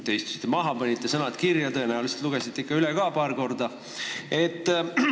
Te istusite maha, panite sõnad kirja, tõenäoliselt lugesite ikka paar korda üle ka.